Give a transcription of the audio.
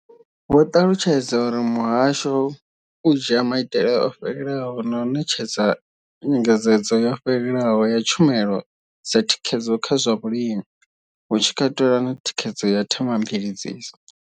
Vho ṱalutshedza uri muhasho u dzhia maitele o fhelelaho na u ṋetshedza nyengedzedzo yo fhelelaho ya tshumelo dza thikhedzo kha zwa vhulimi, hu tshi katelwa na thikhedzo ya Thema mveledziso.